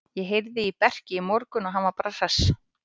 Ég heyrði í Berki í morgun og hann var bara hress.